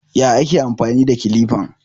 Ya ake amfani da kilifan?